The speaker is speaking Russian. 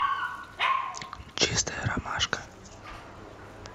чистая ромашка